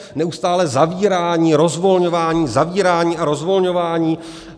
Neustálé zavírání, rozvolňování, zavírání a rozvolňování.